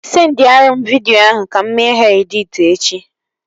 Sendiarụ m vidio ndị ahụ ka mụ mee ha editi echi